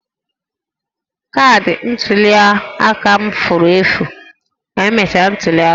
Kaadị ntuli aka m furu efu ka emechara ntuli aka